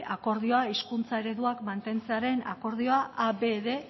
akordioa hizkuntza ereduak mantentzearen akordioa a b bostehun